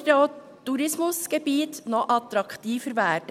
So würden auch die Tourismusgebiete noch attraktiver werden.